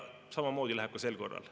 Samamoodi läheb ka sel korral.